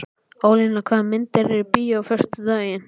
Ólína, hvaða myndir eru í bíó á föstudaginn?